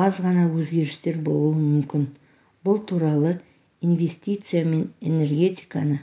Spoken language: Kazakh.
аз ғана өзгерістер болуы мүмкін бұл туралы инвестиция мен энергетиканы